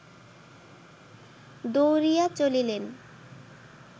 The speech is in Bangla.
দৌড়িয়া চলিলেন